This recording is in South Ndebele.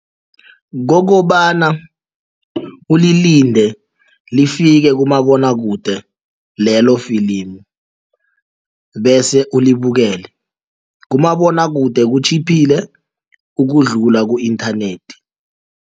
Kokobana ulilinde lifike kumabonwakude lelo filimu bese ulibukele kumabonwakude kutjhiphile ukudlula ku-inthanethi